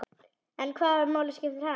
En hvaða máli skiptir hann?